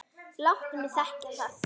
Láttu mig þekkja það!